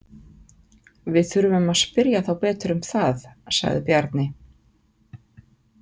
Við þurfum að spyrja þá betur um það, sagði Bjarni.